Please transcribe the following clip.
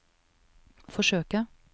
forsøke